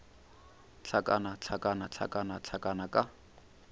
hlakana hlakana hlakana hlakana ka